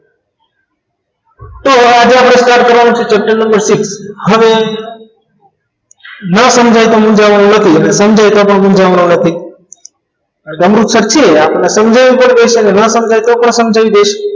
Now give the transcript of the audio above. તો આજે આપણે start કરવાનું છે chapter નંબર six હવે ન સમજાય તો મૂંઝાવાનું નથી અને સમજાય તો પણ મૂંઝાવવાનું નથી જાય તોભી ઠીક અને ન સમજાય તો બી આપણે સમજાવી દઈશું